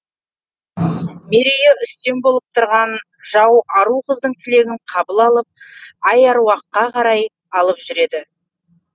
мерейі үстем болып тұрған жау ару қыздың тілегін қабыл алып айрауыққа қарай алып жүреді